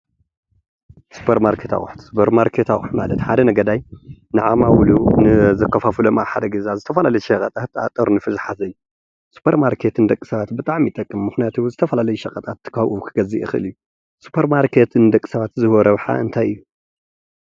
ስፖርማርኬት ኣቁሑት ስፖርማርኬት ኣቁሑት ማለት ሓደ ነጋዳይ ንዓማዊሉ ዘካፋፍሎም ዝተፈላለዩ ሸቀጣት ጠርኒፉ ዝሓዘ እዩ። ስፖርማርኬት ንደቂ ሰባት ብጣዕሚ ይጠቅም። ምክንያቱ ዝተፈላለዩ ሸቀጣትካብኡ ክገዝእ ይክእል እዩ። ስፖርማርኬት ንደቂ ሰባት ዝህቦ ረብሓ እንታይ እዩ?